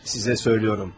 Sizə söylüyorum.